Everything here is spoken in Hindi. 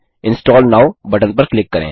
इंस्टॉल नोव बटन पर क्लिक करें